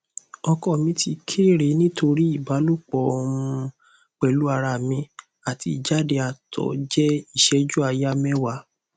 oko mi ti kere nitori ibalopo um pelu ara mi ati ijade ato je iseju aya mewa